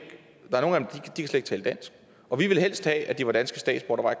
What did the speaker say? tale dansk og vi vil helst have at det var danske statsborgere